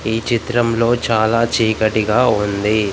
ఈ చిత్రంలో చాలా చీకటిగా ఉంది.